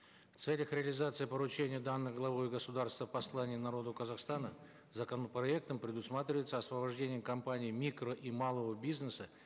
в целях реализации поручения данного главой государства в послании народу казахстана законопроектом предусматривается освобождение компаний микро и малого бизнеса